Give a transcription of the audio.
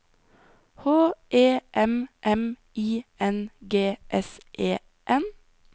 H E M M I N G S E N